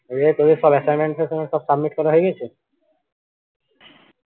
তো তোদের সব assignment সব submit করা হয়ে গেছে